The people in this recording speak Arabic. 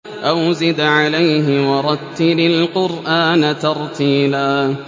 أَوْ زِدْ عَلَيْهِ وَرَتِّلِ الْقُرْآنَ تَرْتِيلًا